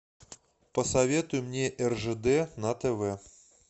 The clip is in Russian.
посоветуй мне ржд на тв